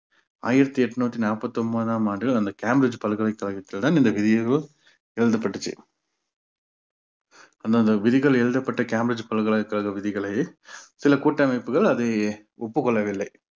ஆயிரத்தி எட்நூத்தி நாப்பத்தி ஒன்பதாம் ஆண்டு அந்த cambridge பல்கலைக்கழகத்துடன் இந்த விதியோ எழுதப்பட்டுச்சு அந்தந்த விதிகள் எழுதப்பட்ட cambridge பல்கலைக்கழக விதிகளை சில கூட்டமைப்புகள் அதை ஒப்புக்கொள்ளவில்லை